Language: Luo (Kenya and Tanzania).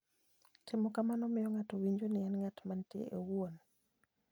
Timo kamano miyo ng'ato winjo ni en ng'at mantie owuon.